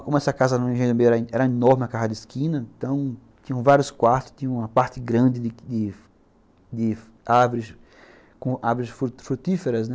Como essa casa no Engenho do Meio era era enorme, uma casa de esquina, tinham vários quartos, tinha uma parte grande de de de árvores, com árvores frutíferas, né.